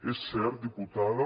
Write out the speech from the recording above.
és cert diputada